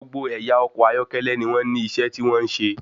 Gbogbo àwọn ẹyà ọkọ̀ ayọ́kẹ́lẹ́ ní wọn ní iṣẹ́ tí wọn n ṣe.